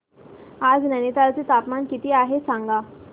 आज नैनीताल चे तापमान किती आहे सांगा